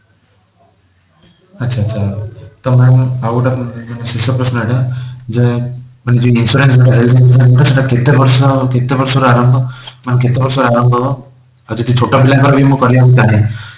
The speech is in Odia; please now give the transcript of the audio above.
ଆଛା ଆଛା okay ତ mam ଆଉ ଗୋଟେ ଆପଣଙ୍କ ପାଇଁ ଶେଷ ପ୍ରଶ୍ନ ଏଇଟା ଯେ ମାନେ ଯଉ insurance health insurance ଯୋଉଟା ସେଟା କେତେ ବର୍ଷ କେତେ ବର୍ଷରୁ ଆରମ୍ଭ ଆଉ କେତେ ବର୍ଷ ଆରମ୍ଭ ହବ ଆଉ ଯଦି ଛୋଟ ପିଲାଙ୍କର ମୁଁ କରିବାକୁ ଚାହେଁ